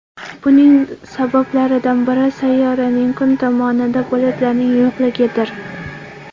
Buning sabablaridan biri sayyoraning kun tomonida bulutlarning yo‘qligidir.